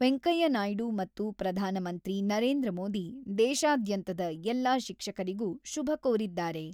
ವೆಂಕಯ್ಯನಾಯ್ಡು ಮತ್ತು ಪ್ರಧಾನಮಂತ್ರಿ ನರೇಂದ್ರ ಮೋದಿ ದೇಶಾದ್ಯಂತದ ಎಲ್ಲ ಶಿಕ್ಷಕರಿಗೂ ಶುಭ ಕೋರಿದ್ದಾರೆ.